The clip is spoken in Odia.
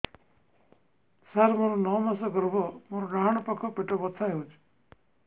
ସାର ମୋର ନଅ ମାସ ଗର୍ଭ ମୋର ଡାହାଣ ପାଖ ପେଟ ବଥା ହେଉଛି